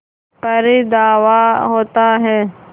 पर धावा होता है